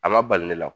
A ma bali ne la